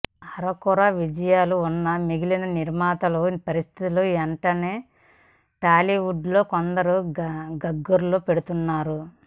అరకొర విజయాలు ఉన్న మిగిలిన నిర్మాతల పరిస్థితి ఏంటని టాలీవుడ్ లో కొందరు గగ్గోలు పెడుతున్నారు